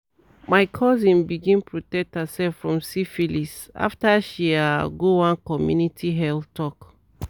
my cousin begin protect herself from syphilis after she ah go one community health talk."